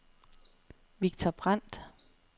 Victor Brandt